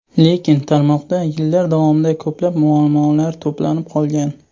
Lekin tarmoqda yillar davomida ko‘plab muammolar to‘planib qolgan.